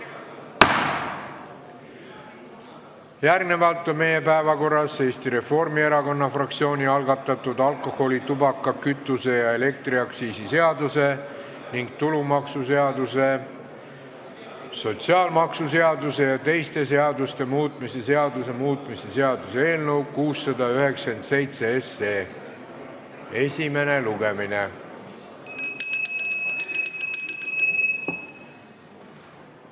Järgnevalt on meie päevakorras Eesti Reformierakonna fraktsiooni algatatud alkoholi-, tubaka-, kütuse- ja elektriaktsiisi seaduse ning tulumaksuseaduse, sotsiaalmaksuseaduse ja teiste seaduste muutmise seaduse muutmise seaduse eelnõu 697 esimene lugemine.